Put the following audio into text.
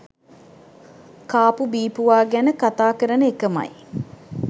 කාපු බීපුවා ගැන කතා කරන එකමයි.